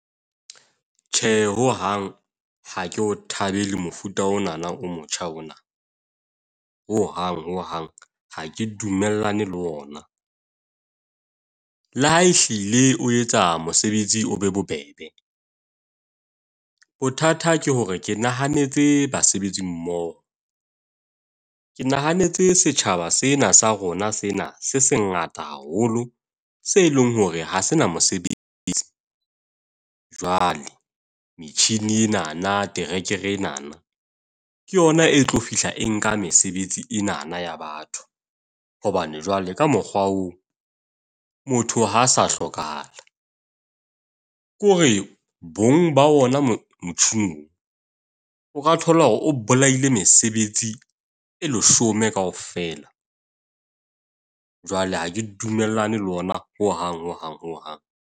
Tjhe, ho hang ha ke o thabele mofuta onana o motjha ona. Ho hang hang ha ke dumellane le ona. Le ha e hlile o etsa mosebetsi, o be bobebe. Bothata ke hore ke nahanetse basebetsi mmoho. Ke nahanetse setjhaba sena sa rona sena se se ngata haholo. Se leng hore ha se na mosebetsi. Jwale metjhini enana, terekere enana ke yona e tlo fihla, e nka mesebetsi enana ya batho. Hobane jwale ka mokgwa oo, motho ha sa hlokahala ke hore bong ba ona motjhining, o ka thola hore o bolaile mesebetsi e leshome kaofela. Jwale ha ke dumellane le ona ho hang ho hang hang.